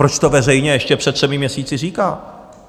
Proč to veřejně ještě před třemi měsíci říká?